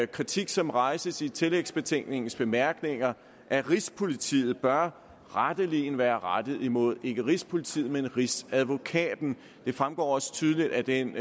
kritik som rejses i tillægsbetænkningens bemærkninger af rigspolitiet bør retteligen være rettet imod ikke rigspolitiet men rigsadvokaten det fremgår også tydeligt af den